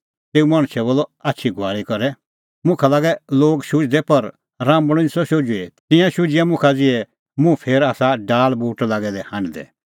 तेऊ मणछै बोलअ आछी घुआल़ी करै मुखा लागै लोग शुझदै पर राम्बल़अ निस्सअ शुझुई तिंयां शुझिआ मुखा ज़िहै मुंह फेर आसा डाल़ बूट लागै दै हांढदै